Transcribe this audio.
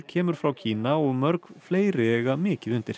kemur frá Kína og mörg fleiri eiga mikið undir